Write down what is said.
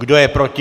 Kdo je proti?